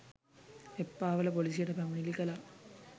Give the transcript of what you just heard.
එප්පාවල පොලිසියට පැමිණිලි කළා